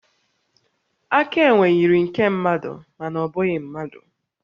Aka enwe yiri nke mmadụ, mana ọ bụghị mmadụ